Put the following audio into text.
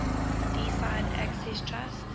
deeside access trust